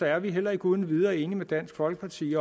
er vi heller ikke uden videre enige med dansk folkeparti